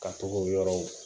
Ka togo yɔrɔw